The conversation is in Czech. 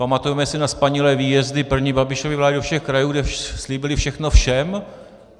Pamatujeme si na spanilé výjezdy první Babišovy vlády do všech krajů, kde slíbili všechno všem.